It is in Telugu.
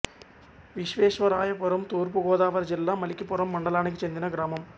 విశ్వేశ్వరాయపురం తూర్పు గోదావరి జిల్లా మలికిపురం మండలానికి చెందిన గ్రామం